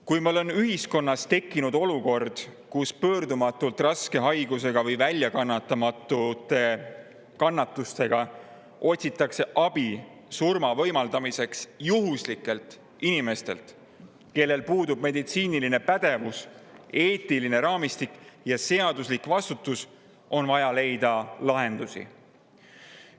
Kui meil on ühiskonnas tekkinud olukord, kus pöördumatult raske haigusega või väljakannatamatute kannatustega otsitakse abi surma võimaldamiseks juhuslikelt inimestelt, kellel puudub meditsiiniline pädevus, eetiline raamistik ja seaduslik vastutus, on vaja leida lahendusi.